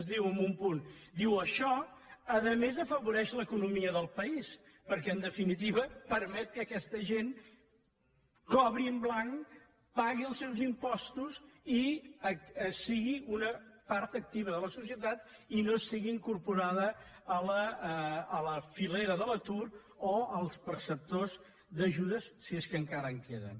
es diu en un punt això a més afavoreix l’economia del país perquè en definitiva permet que aquesta gent cobri en blanc pagui els seus impostos i sigui una part activa de la societat i no estigui incorporada a la filera de l’atur o als perceptors d’ajudes si és que encara en queden